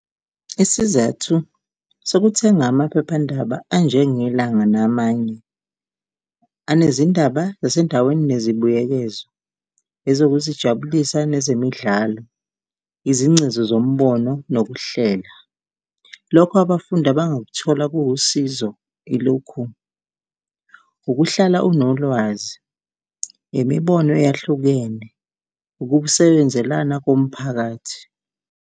Isizathu sokuthenga amaphephandaba anjenge Langa namanye anezindaba zasendaweni nezibuyekezo, ezokuzijabulisa nezemidlalo, izingcezu zombono nokuhlela. Lokho abafundi abangakuthola kuwusizo ilokhu, ukuhlala unolwazi, imibono eyahlukene, ukusebenzelana komphakathi.